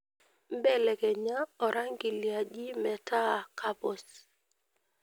belekenya orangi liaji meeta kapuz